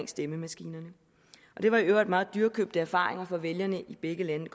stemmemaskinerne og det var i øvrigt meget dyrekøbte erfaringer for vælgerne i begge lande det